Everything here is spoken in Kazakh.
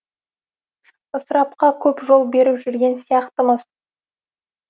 ысырапқа көп жол беріп жүрген сияқтымыз